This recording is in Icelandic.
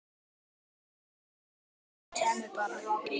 Það væri auðvitað skemmtilegast að þú kæmir bara!